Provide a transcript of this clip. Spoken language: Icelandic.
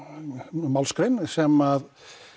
málsgrein sem